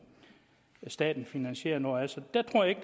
staten finansierer noget af så jeg tror ikke